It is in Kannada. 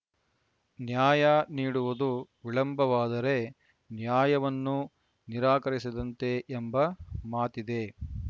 ನ್ಯಾಯ ನೀಡುವುದು ವಿಳಂಬವಾದರೆ ನ್ಯಾಯವನ್ನು ನಿರಾಕರಿಸಿದಂತೆ ಎಂಬ ಮಾತಿದೆ